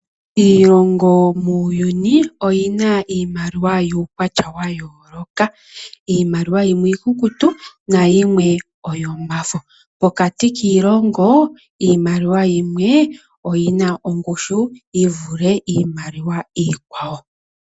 Iilongo muuyuni oyina iimaliwa yukwatya ya yooloka iimaliwa yimwe iikukutu nayimwe oyomafo. Pokati kiilongo iimaliwa yimwe oyina ongushu yivule iimaliwa iikwawo.